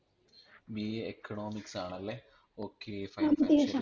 BAEconomics ആണല്ലേ okay fine fine